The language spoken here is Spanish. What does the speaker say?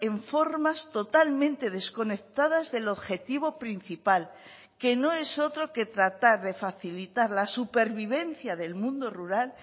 en formas totalmente desconectadas del objetivo principal que no es otro que tratar de facilitar la supervivencia del mundo rural